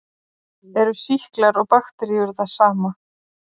Eru sýklar og bakteríur það sama?